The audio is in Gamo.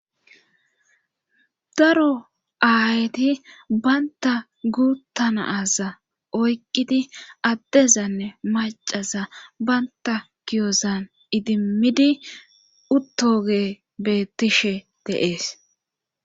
daro aayeti baynta guuttanaaza oyqqidi addezanne macaza baynta giyozan idimmidi uttoge beettishe deees